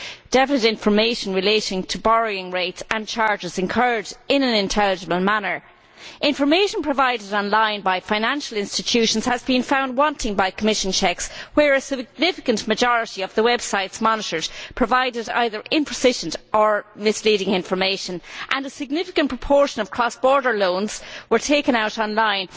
definite information relating to borrowing rates and charges incurred that is provided in an intelligible manner. Information provided online by financial institutions has been found wanting by Commission checks, whereas a significant majority of the websites monitored provided either insufficient or misleading information and a significant proportion of cross border loans were taken out online.